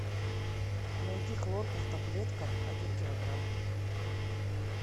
найди хлорку в таблетках один килограмм